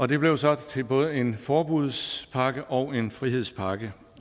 det blev så til både en forbudspakke og en frihedspakke